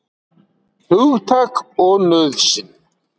Hugtak og nauðsyn.